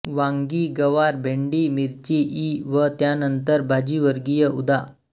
वांगी गवार भेंडी मिरची इ व त्यानंतर भाजीवर्गीय उदा